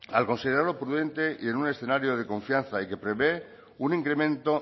al considerarlo prudente y en un escenario de confianza y que prevé un incremento